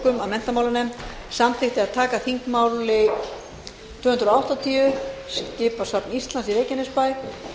að menntamálanefnd samþykkti að taka þingmáli tvö hundruð áttatíu skipasafn íslands í reykjanesbæ